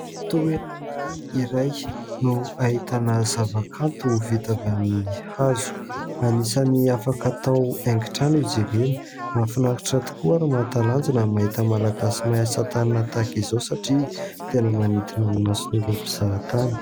Toerana iray no ahitana zavakanto vita avy amin'ny hazo. Anisany afaka hatao haingo trano izy ireny. Mahafinaritra tokoa ary mahatalanjona mahita malagasy mahay asa tanana tahaka izao satria tena manintona ny mason'ireo mpizahatany.